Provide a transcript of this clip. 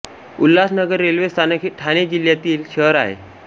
Ulhasnagar railway स्थानक हे ठाणे जिल्ह्यातील शहर आहे